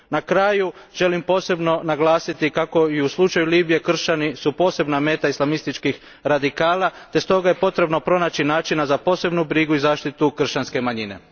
Na kraju, želim posebno naglasiti kako su i u slučaju Libije kršćani posebna meta islamističkih radikala te je potrebno pronaći način za posebnu brigu i zaštitu kršćanske manjine.